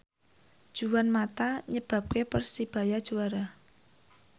Juan mata nyebabke Persebaya juara